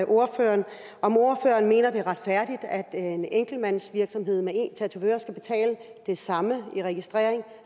ordføreren om han mener det er retfærdigt at en enkeltmandsvirksomhed med én tatovør skal betale det samme i registrering